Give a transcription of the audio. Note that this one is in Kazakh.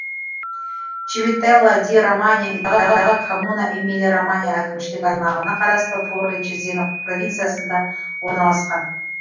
чивителла ди романья и коммуна эмилия романья әкімшілік аймағына қарасты форли чезена провинциясында орналасқан